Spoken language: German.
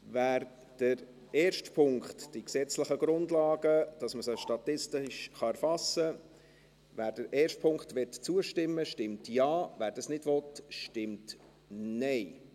Wer dem ersten Punkt, die gesetzlichen Grundlagen seien zu schaffen, damit man statistisch erfassen kann, zustimmen will, stimmt Ja, wer das nicht will, stimmt Nein.